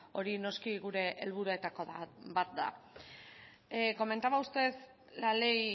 hori noski gure helburuetako bat da comentaba usted la ley